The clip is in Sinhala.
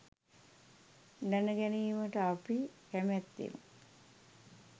දැනගැනීමට අපි කැමැත්තෙමු.